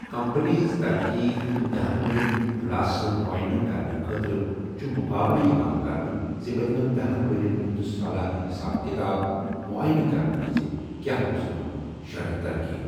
Company ہنٛز ترقی ہُنٛد دہن ورین ہنٛد خُلاسہٕ معاینٕہ کَرنہٕ خٲطرٕ چھُ مُقابلہٕ یِوان کرنہٕ زٕ پتمٮ۪ن دہَن ورٮ۪ن ہُنٛد سالانہٕ حساب کتاب معاینٕہ کرنہٕ وِز کیاہ اوس امیُک شرحہِ ترقی۔